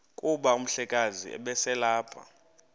kuba umhlekazi ubeselelapha